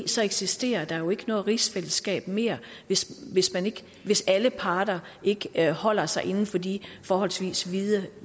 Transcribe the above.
så eksisterer der jo ikke noget rigsfællesskab mere hvis hvis alle parter ikke holder sig inden for de forholdsvis vide